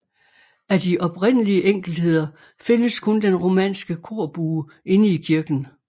Af de oprindelige enkeltheder findes kun den romanske korbue inde i kirken